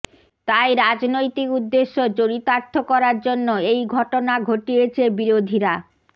তাই রাজনৈতিক উদ্দেশ্য চরিতার্থ করার জন্য এই ঘটনা ঘটিয়েছে বিরোধীরা